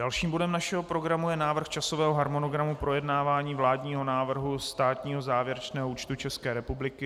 Dalším bodem našeho programu je Návrh časového harmonogramu projednávání vládního návrhu státního závěrečného účtu České republiky.